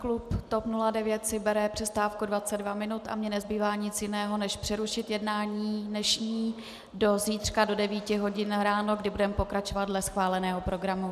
Klub TOP 09 si bere přestávku 22 minuty a mně nezbývá nic jiného než přerušit jednání dnešní do zítřka do 9 hodin ráno, kdy budeme pokračovat dle schváleného programu.